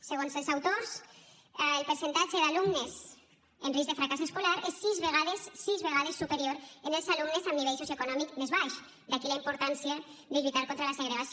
segons els autors el percentatge d’alumnes en risc de fracàs escolar és sis vegades sis vegades superior en els alumnes amb nivell socioeconòmic més baix d’aquí la importància de lluitar contra la segregació